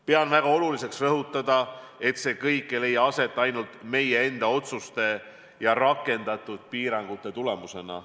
Pean väga oluliseks rõhutada, et see kõik ei leia aset ainult meie enda otsuste ja rakendatud piirangute tulemusena.